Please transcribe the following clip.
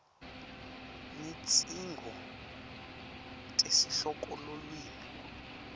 netidzingo tesihloko lulwimi